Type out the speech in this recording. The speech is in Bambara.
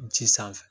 Ji sanfɛ